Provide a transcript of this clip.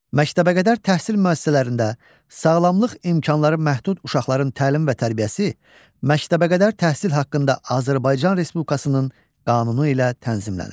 Məktəbəqədər təhsil müəssisələrində sağlamlıq imkanları məhdud uşaqların təlim və tərbiyəsi məktəbəqədər təhsil haqqında Azərbaycan Respublikasının qanunu ilə tənzimlənir.